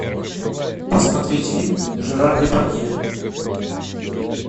посмотреть фильм жерар депардье